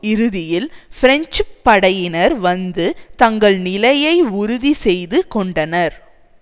இறுதியில் பிரெஞ்சு படையினர் வந்து தங்கள் நிலையை உறுதி செய்து கொண்டனர்